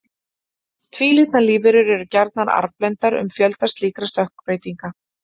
Tvílitna lífverur eru gjarnan arfblendnar um fjölda slíkra stökkbreytinga.